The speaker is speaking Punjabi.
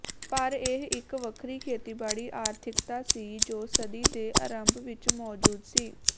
ਪਰ ਇਹ ਇਕ ਵੱਖਰੀ ਖੇਤੀਬਾੜੀ ਆਰਥਿਕਤਾ ਸੀ ਜੋ ਸਦੀ ਦੇ ਅਰੰਭ ਵਿੱਚ ਮੌਜੂਦ ਸੀ